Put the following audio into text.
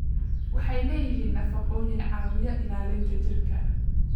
Waxay leeyihiin nafaqooyin caawiya ilaalinta jidhka.